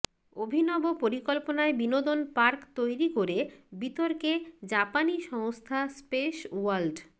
অভিনব পরিকল্পনায় বিনোদন পার্ক তৈরি করে বিতর্কে জাপানি সংস্থা স্পেস ওয়ার্ল্ড